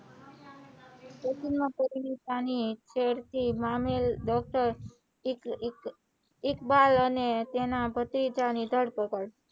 છેડતી મામલે ડોક્ટર ઈક ઈક ઇકબાલ અને તેના પતિથા ની ધરપકડ,